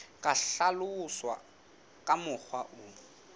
ka hlaloswa ka mokgwa o